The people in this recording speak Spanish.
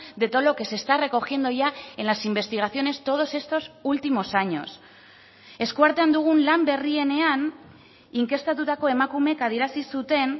de todo lo que se está recogiendo ya en las investigaciones todos estos últimos años eskuartean dugun lan berrienean inkestatutako emakumeek adierazi zuten